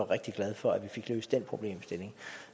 rigtig glad for at vi fik løst den problemstilling